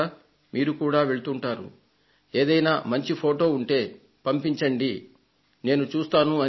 మీరు కూడా వివిధ ప్రదేశాలకు వెళ్తుంటారు ఏదైనా మంచి ఫొటో ఉంటే పంపించండి నేను చూస్తాను అని